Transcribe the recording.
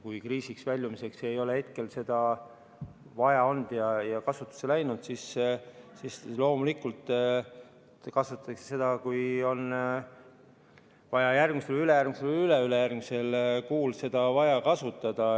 Kui kriisist väljumiseks ei ole hetkel seda vaja olnud ja see pole kasutusse läinud, siis loomulikult kasutatakse seda, kui on vaja, järgmisel, ülejärgmisel või üleülejärgmisel kuul.